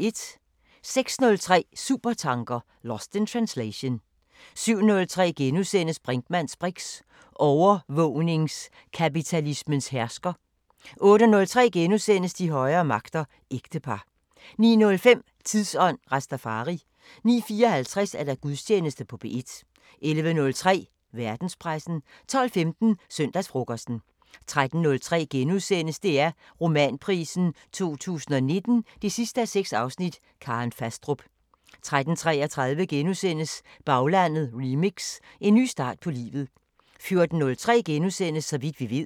06:03: Supertanker: Lost in translation 07:03: Brinkmanns briks: Overvågningskapitalismen hersker * 08:03: De højere magter: Ægtepar * 09:05: Tidsånd: Rastafari 09:54: Gudstjeneste på P1 11:03: Verdenspressen 12:15: Søndagsfrokosten 13:03: DR Romanprisen 2019 6:6 – Karen Fastrup * 13:33: Baglandet remix: En ny start på livet * 14:03: Så vidt vi ved *